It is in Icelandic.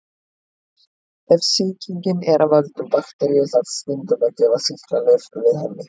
Ef sýkingin er af völdum bakteríu þarf stundum að gefa sýklalyf við henni.